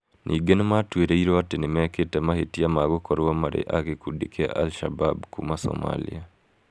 Ningĩ nĩ maatuĩrĩirũo atĩ nĩ mekĩte mahĩtia ma gũkorwo marĩ a gĩkundi kĩa al-Shabab kuuma Somalia.